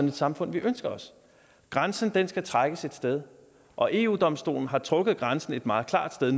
et samfund vi ønsker os grænsen skal trækkes et sted og eu domstolen har trukket grænsen et meget klart sted